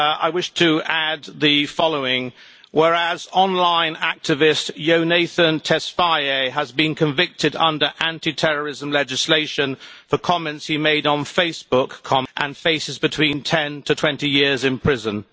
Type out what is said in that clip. I wish to add the following whereas online activist Yonatan Tesfaye has been convicted under anti terrorism legislation for comments he made on Facebook, and faces between 10 to 20 years in prison'.